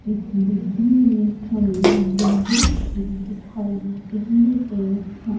इस बिल्डिंग में हमें विंडोस भी दिखाई दे रही हैं।